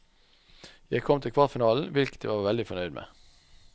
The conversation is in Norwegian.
Jeg kom til kvartfinalen, hvilket jeg var veldig fornøyd med.